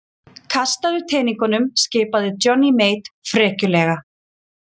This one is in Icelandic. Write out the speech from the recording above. Kastaðu teningunum skipaði Johnny Mate frekjulega.